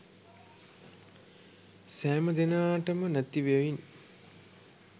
සෑම දෙනාටම නැති බැවින්